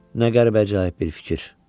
Nə qəribə-əcaib bir fikir.